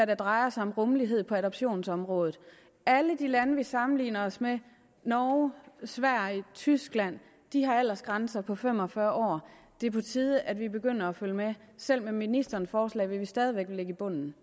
det drejer sig om rummelighed på adoptionsområdet alle de lande vi sammenligner os med norge sverige tyskland har aldersgrænser på fem og fyrre år det er på tide at vi begynder at følge med selv med ministerens forslag vil vi stadig væk ligge i bunden